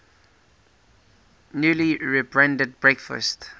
newly rebranded breakfast